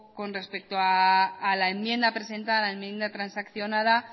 poco con respecto a la enmienda presentada enmienda transaccionada